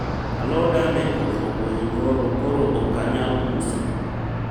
aloda ne koth ogoyo nyoro koro ok anyal uso